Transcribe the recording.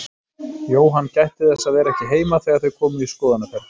Jóhann gætti þess að vera ekki heima þegar þau komu í skoðunarferð.